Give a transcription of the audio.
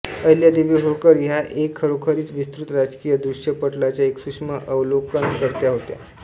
अहिल्यादेवी होळकर ह्या एक खरोखरीच विस्तृत राजकीय दृश्यपटलाच्या एक सूक्ष्म अवलोकनकर्त्या होत्या